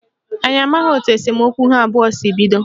Anyị amaghị etu esemokwu ha abụọ si bido